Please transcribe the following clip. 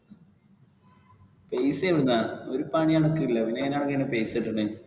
പൈസ എവിടെന്നാ ഒരു പണി അണകില്ല പിന്നെ എങ്ങനെ പൈസ കിട്ടുന്നെ?